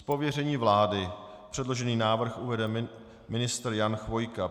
Z pověření vlády předložený návrh uvede ministr Jan Chvojka.